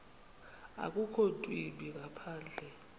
akukho ntwimbi ngaphandle